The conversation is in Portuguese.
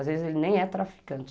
Às vezes ele nem é traficante.